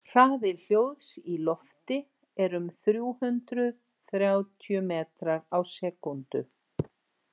Hraði hljóðs í lofti er um þrjú hundruð þrjátíu metrar á sekúndu.